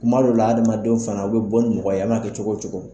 Kuma dɔ la adamadenw fana u bɛ bɔ ni mɔgɔ ye a man'a kɛ cogo o cogo.